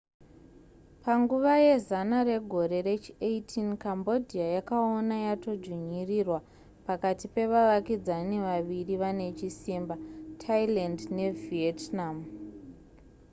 panguva yezana regore rechi18 cambodia yakaona yatodzvinyirirwa pakati pevavakidzani vaviri vane chisimba thailand nevietnam